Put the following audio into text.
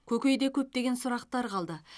көкейде көптеген сұрақтар қалды